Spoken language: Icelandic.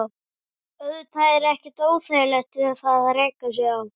Auðvitað er ekkert óeðlilegt við það að reka sig á.